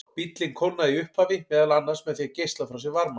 Bíllinn kólnaði í upphafi meðal annars með því að geisla frá sér varma.